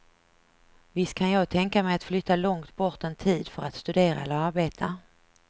Visst kan jag tänka mig att flytta långt bort en tid för att studera eller arbeta.